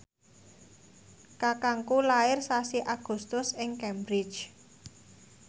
kakangku lair sasi Agustus ing Cambridge